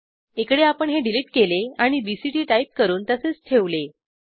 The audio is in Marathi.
इकडे आपण हे डिलिट केले आणि बीसीटी टाईप करून तसेच ठेवले